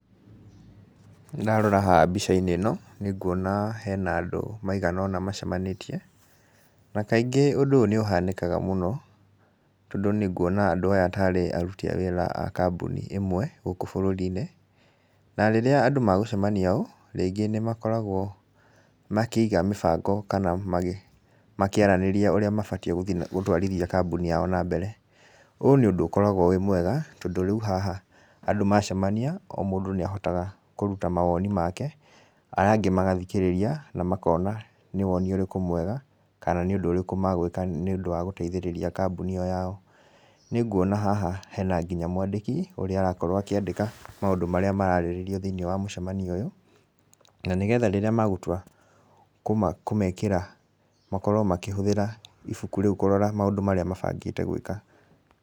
Ndarora hahambica-inĩ ĩno, nĩ nguona hena andũ maigana ũna macemanĩtie. Na kaingĩ ũndũ ũyũ nĩ ũhanĩkaga mũno, tondũ nĩ nguona andũ aya tarĩ aruti a wĩra a kambuni ĩmwe, gũkũ bũrũri-inĩ. Na rĩrĩa andũ magũcemania ũũ, rĩngĩ nĩ makoragwo makĩiga mĩbango kana makĩaranĩria ũrĩa mabatiĩ gũthi na gũtwarithia kambuni yao na mbere. Ũũ nĩ ũndúũũkoragwo wĩ mwega, tondũ rĩu haha andũ macamania, o mũndũ nĩ ahotaga kũruta mawoni make, aya angĩ magathikĩrĩria, na makona nĩ woni ũrĩkũ mwega, kana nĩ ũndũ ũrĩkũ magũĩka nĩ ũndũ wa gũteithĩrĩria kambuni ĩyo yao. Nĩ nguona haha hena nginya mwandĩki, ũrĩa arakorwo akĩandĩka maũndũ marĩa mararĩrĩrio thĩiniĩ wa mũcamanio ũyũ, na nĩgetha rĩrĩa magũtua kũmekĩra makorwo makĩhũthĩra ibuku rĩu kũrora maũndũ marĩa mabangĩte gwĩka.